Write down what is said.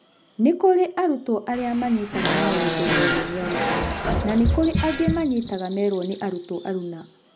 Nĩkũrĩ arutwo arĩa manyitaga maũndũ merwo nĩ arutani na nĩ kũrĩ angĩ manyitaga merwo nĩ arutwo aruna.